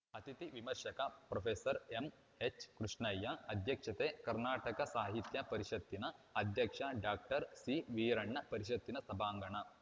ಅತಿಥಿ ವಿಮರ್ಶಕ ಪ್ರೊಫೆಸರ್ ಎಂಎಚ್‌ಕೃಷ್ಣಯ್ಯ ಅಧ್ಯಕ್ಷತೆ ಕರ್ನಾಟಕ ಸಾಹಿತ್ಯ ಪರಿಷತ್ತಿನ ಅಧ್ಯಕ್ಷ ಡಾಕ್ಟರ್ ಸಿವೀರಣ್ಣ ಪರಿಷತ್ತಿನ ಸಭಾಂಗಣ